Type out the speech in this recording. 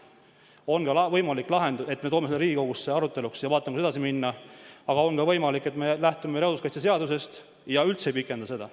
On võimalik selline lahendus, et me toome selle Riigikogusse aruteluks ja vaatame, kuidas edasi minna, aga on ka võimalik, et me lähtume looduskaitseseadusest ja ei pikenda seda.